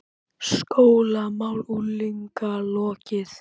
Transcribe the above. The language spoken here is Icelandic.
SKÓLAMÁL UNGLINGA LOKIÐ